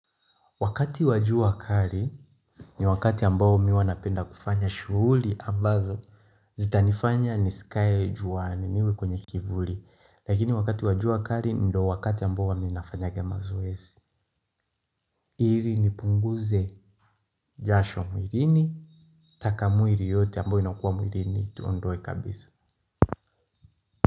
Wakati wa jua kali ni wakati ambao mii huwa napenda kufanya shughuli ambazo zita nifanya nisikae jua ni niwe kwenye kivuli. Lakini wakati wa jua kali ndo wakati ambao uwa mii nafanyanga mazoezi. Ili nipunguze jasho mwilini taka mwili yote ambayo inakuwa mwilini tuondoe kabisa.